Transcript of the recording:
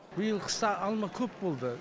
биыл қыста алма көп болды